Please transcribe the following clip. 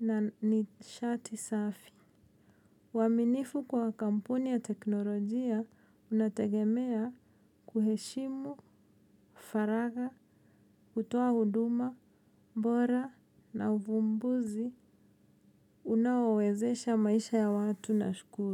na nishati safi. Waminifu kwa kampuni ya teknolojia unategemea kuheshimu, faraga, kutoa huduma, bora na uvumbuzi unawowezesha maisha ya watu na shukuru.